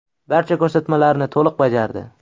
Barcha ko‘rsatmalarni to‘liq bajardi.